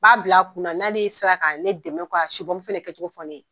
B'a bila kunna na ne sera ka ne dɛmɛ ka su pɔmu fɛnɛ kɛ cogo fɔ ne ye.